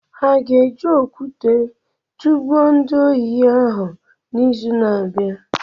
Ha ga-eji okwụte tụgbuo ndị ohi ahụ n'izu na-abịa?